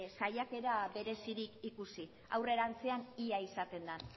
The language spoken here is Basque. saiakera berezirik ikusi aurrerantzean ia izaten den